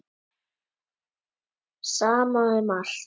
Sama um allt.